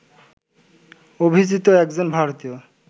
অভিজিত একজন ভারতীয়